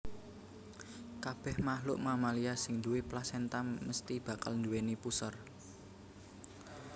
Kabèh makhluk mamalia sing duwé plasenta mesthi bakal nduwèni puser